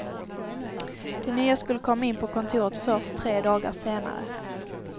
De nya skulle komma in på kontot först tre dagar senare.